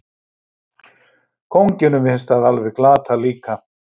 Kónginum finnst það alveg glatað líka.